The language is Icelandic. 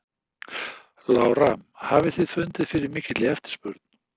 Lára: Hafið þið fundið fyrir mikilli eftirspurn?